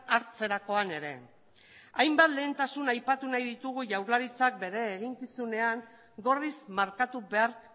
hartzerakoan ere hainbat lehentasun aipatu nahi ditugu jaurlaritzak bere eginkizunean gorriz markatu behar